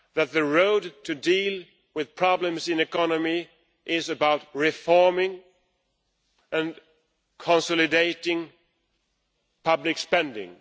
The way to deal with problems in the economy is about reforming and consolidating public spending.